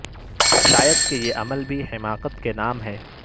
شاید کہ یہ عمل بھی حماقت کے نام ہے